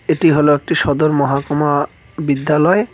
এটি হলো একটি সদর মহকুমা বিদ্যালয়।